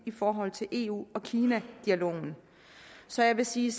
i forhold til eu kina dialogen så jeg vil sige